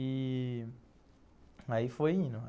E aí foi indo.